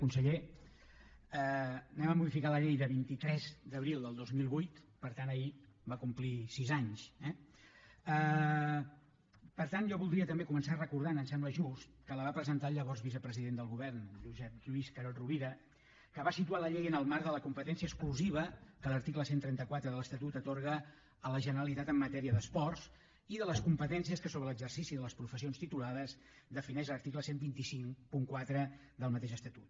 conseller anem a modificar la llei del vint tres d’abril del dos mil vuit per tant ahir va complir sis anys eh per tant jo voldria també començar recordant em sembla just que la va presentar el llavors vicepresident del govern josep lluís carod rovira que va situar la llei en el marc de la competència exclusiva que l’article cent i trenta quatre de l’estatut atorga a la generalitat en matèria d’esports i de les competències que sobre l’exercici de les professions titulades defineix l’article dotze cinquanta quatre del mateix estatut